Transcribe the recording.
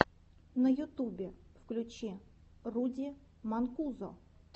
на ютубе включи руди манкузо